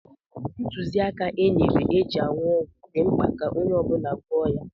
Ntụziaka e nyere eji aṅụ ọgwụ dị mkpa ka onye ọ bụla gụọ ya.